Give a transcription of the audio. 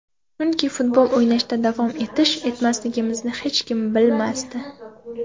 Chunki futbol o‘ynashda davom etish, etmasligimizni hech kim bilmasdi.